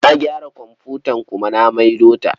Na gyara komfutar kuma na maido ta.